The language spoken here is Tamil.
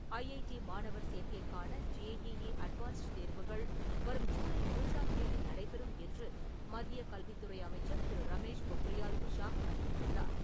ஐஐடி மாணவர் சேர்க்கைக்கான ஜேஇஇ அட்வான்ஸ்டு தேர்வுகள் வரும் ஜூலை மூன்றாம் தேதி நடைபெறும் என்று மத்திய கல்வித்துறை அமைச்சர் திரு ரமேஷ் பொக்ரியால் நிஷாக் அறிவித்துள்ளார்.